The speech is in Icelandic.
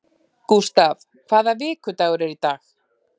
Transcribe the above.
Gustav, hvaða vikudagur er í dag?